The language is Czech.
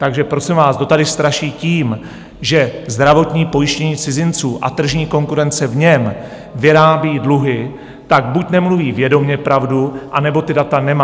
Takže prosím vás, kdo tady straší tím, že zdravotní pojištění cizinců a tržní konkurence v něm vyrábí dluhy, tak buď nemluví vědomě pravdu, anebo ta data nemá.